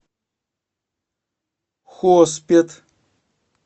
хоспет